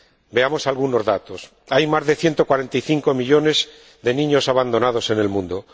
Veamos algunos datos hay más de ciento cuarenta y cinco millones de niños abandonados en el mundo